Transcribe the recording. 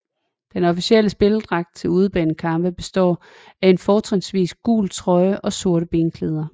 Den officielle spilledragt til udebanekampe består af en fortrinsvis gul trøje og sorte benklæder